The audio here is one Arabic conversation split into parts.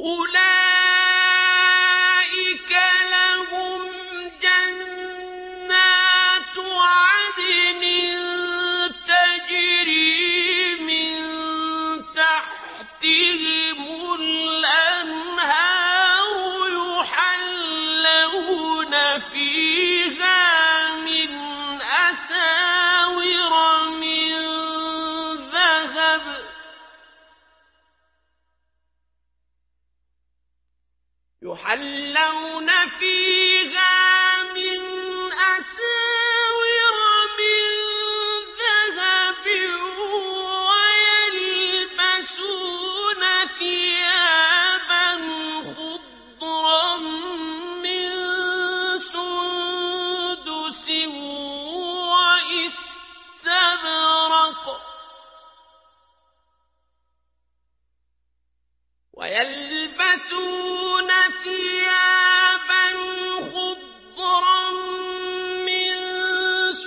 أُولَٰئِكَ لَهُمْ جَنَّاتُ عَدْنٍ تَجْرِي مِن تَحْتِهِمُ الْأَنْهَارُ يُحَلَّوْنَ فِيهَا مِنْ أَسَاوِرَ مِن ذَهَبٍ وَيَلْبَسُونَ ثِيَابًا خُضْرًا مِّن سُندُسٍ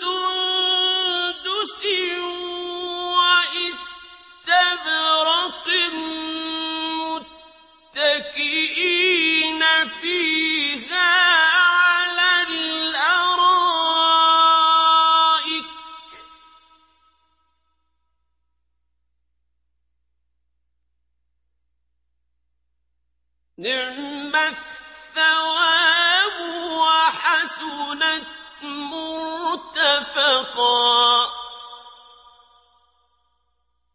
وَإِسْتَبْرَقٍ مُّتَّكِئِينَ فِيهَا عَلَى الْأَرَائِكِ ۚ نِعْمَ الثَّوَابُ وَحَسُنَتْ مُرْتَفَقًا